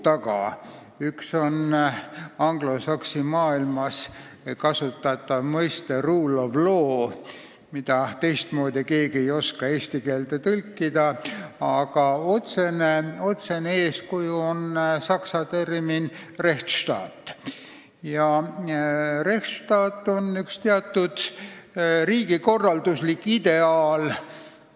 Üks neist on anglosaksi maailmas kasutatav mõiste "rule of law", mida ei oska keegi teistmoodi eesti keelde tõlkida ja mille otsene eeskuju on saksa termin "Rechtsstaat", mis tähendab teatud riigikorralduslikku ideaali.